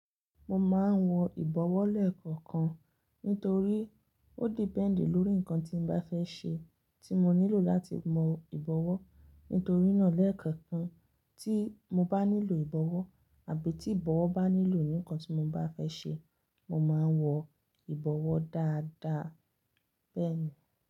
Mo máa ń wọ ìbọ̀wọ́ lẹ́ẹ̀kọ̀kan nítorí ó dependi lórí nǹkan tí mo bá fẹ́ ṣe tí mo nílò láti mọ ìbọ̀wọ́. Nítorí náà lẹ́ẹ̀kọ̀kan tí mo bá nílò ìbọ̀wọ́ àbí tí ìbọ̀wọ́ bá nílò nǹkan tí mo bá fẹ́ ṣe, mo máa wọ ìbọ̀wọ́ dáadáa bẹ́ẹ̀ ni.